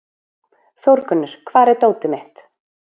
Þórgunnur, hvar er dótið mitt?